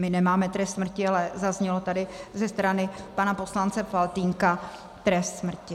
My nemáme trest smrti, ale zazněl tady ze strany pana poslance Faltýnka trest smrti.